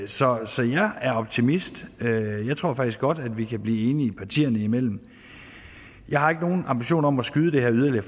så jeg er optimist jeg tror faktisk godt at vi kan blive enige partierne imellem jeg har ikke nogen ambitioner om at skyde det her yderligere